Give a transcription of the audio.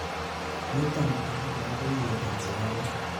niton abakora koiyet ab sigaret